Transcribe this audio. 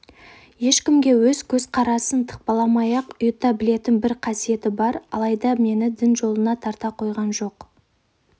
ешкімге өз көзқарасын тықпыламай-ақ ұйыта білетін бір қасиеті бар алайда мені дін жолына тарта қойған жоқ